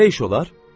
Belə iş olar?